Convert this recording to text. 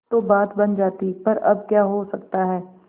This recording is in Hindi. तो बात बन जाती पर अब क्या हो सकता है